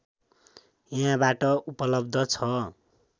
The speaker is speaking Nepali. यहाँबाट उपलब्ध छ